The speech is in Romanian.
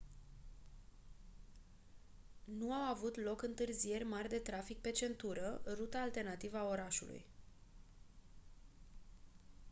nu au avut loc întârzieri mari de trafic pe centură ruta alternativă a orașului